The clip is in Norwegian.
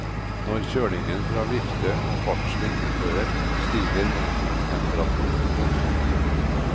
Når kjølingen fra vifte og fartsvind opphører, stiger motortemperaturen voldsomt.